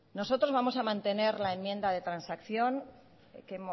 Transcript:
nosotros vamos a mantener